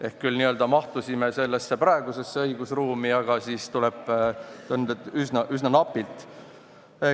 Ehk me küll n-ö mahtusime sellesse praegusesse õigusruumi, aga tuleb tunnistada, et üsna napilt.